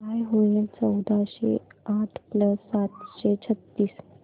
काय होईल चौदाशे आठ प्लस सातशे छ्त्तीस